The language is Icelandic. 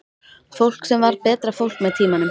Fólk sem varð betra fólk með tímanum.